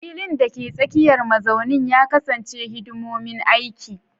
Filin, dake tsakiyar mazaunin, ya kasance hidimomin aiki.